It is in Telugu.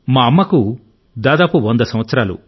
మా అమ్మకు దాదాపు 100 సంవత్సరాలు